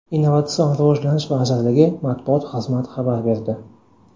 Innovatsion rivojlanish vazirligi matbuot xizmat xabar berdi.